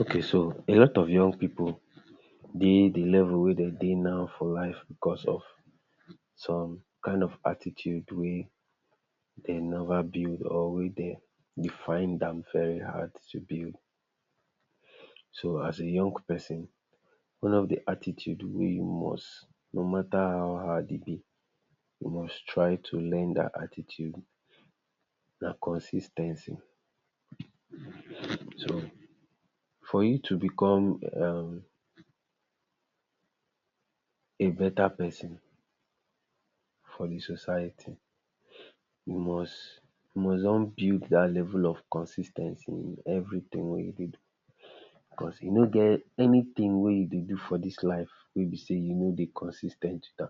Okay so a lot of young pipu dey di level wey dem dey now for life because of some kain of attitude wey dem never build or wey dem dey find am very hard to build. So as a young pesin, wey no be attitude wey you must no matter how hard e be you must try to learn dat attitude na consis ten cy so for you to become a beta persin for di society you must must don build dat level of consis ten cy in everytin wey you dey do because e no get anytin wey you dey do for dis life wey be say if you no dey consis ten t wit am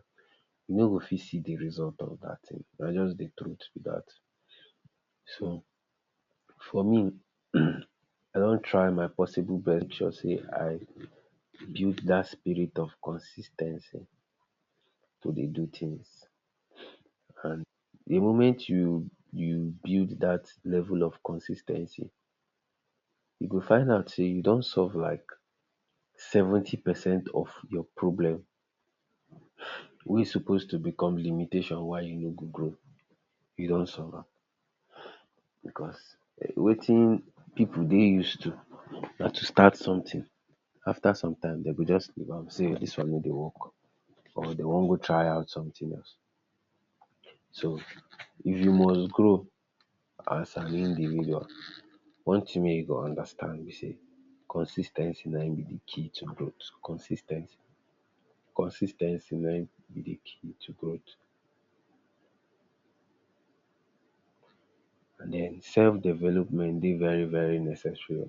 you no go fit see di result of dat tin na just di truth be dat. So, for me um I don try my possible best make sure sey I build dat spirit of consis ten cy to dey do tins and di moment you you build dat level of consis ten cy you go find out sey you don solve like seventy percent of your problem um wey e suppose to become limitation why you no go grow you don solve am um because watin pipu dey use to na to start sometin after some time dem go just leave am say dis one no dey work or dem wan go try out sometin else. So if you must grow as an individual one tin wey you go understand be say consis ten cy na eem be di key to growth consis ten cy, consis ten cy na him be di key to growth. Den self development dey very very necessary o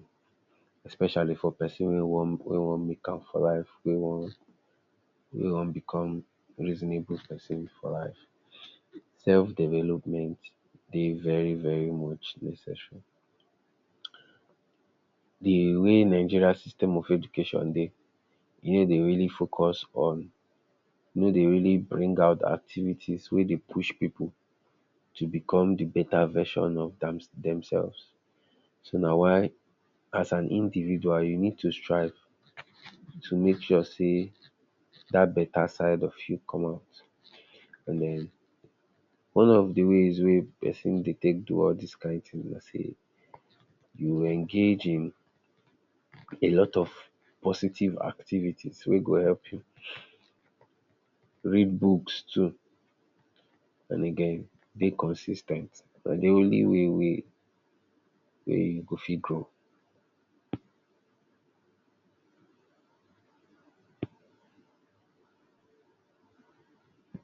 especially for pesin wey wan wey wan make am for life wey wan wey wan become reasonable pesin for life self development dey very very much necessary. Di way Nigerian system of education dey, e no dey really focus on e no dey really bring out activities wey dey push pipu to become di beta version of dem themselves so na why as an individual you need to strive to make sure say dat beta side of you commot and den one of di ways wey pesin dey take do all dis kain tin be say you engage in a lot of positive activities wey go help you, read books too and again dey consis ten t na di only way wey wey you go fit grow.